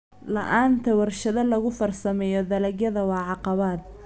La'aanta warshado lagu farsameeyo dalagyada waa caqabad.